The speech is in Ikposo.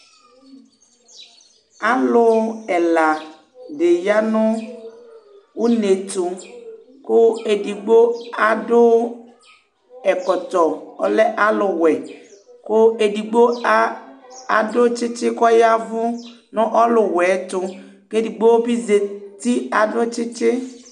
Alu ɛla di yanu unétu , ku edigbo adu ɛkɔtɔ ɔlɛ alu wuɛ ku edigbo adu tchitchi kɔ yavu nɔ ɔlu wuɛ ɛtu, kɛ edogbo bi zati adu tchitchi